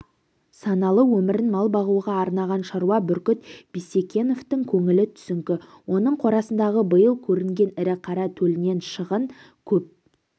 саналы өмірін мал бағуға арнаған шаруа бүркіт бисекеновтің көңілі түсіңкі оның қорасындағы биыл көрінген ірі қара төлінен шығын көп